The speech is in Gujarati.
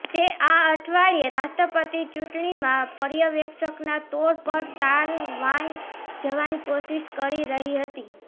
તે આ અઠવાડિયે રાષ્ટ્રપતિ ચૂંટણીમાં પર્યવેક્ષકના તોર પર તાઇવાન જવાની કોશિષ કરીરહી હતી